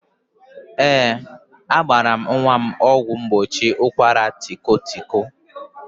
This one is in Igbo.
Ee, agbaala m nwa m ọgwụ mgbochi ụkwaratịkọtịkọ